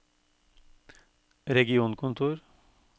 regionkontor